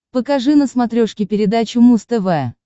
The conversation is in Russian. покажи на смотрешке передачу муз тв